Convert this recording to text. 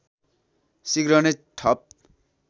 शीघ्र नै ठप